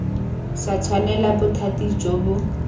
sa tshwanela bothati jo bo